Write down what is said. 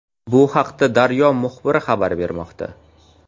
Bu haqida «Daryo» muxbiri xabar bermoqda.